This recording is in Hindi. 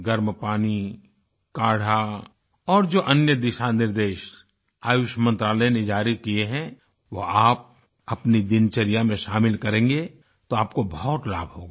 गर्म पानी काढ़ा और जो अन्य दिशानिर्देश आयुष मंत्रालय ने जारी किये हैं वो आप अपनी दिनचर्या में शामिल करेगें तो आपको बहुत लाभ होगा